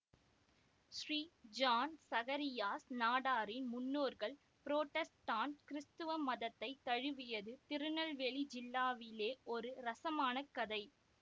Sri John Zacharias நாடாரின் முன்னோர்கள் Protestant கிறிஸ்தவ மதத்தை தழுவியது திருநெல்வேலி ஜில்லாவிலே ஒரு ரஸமான கதை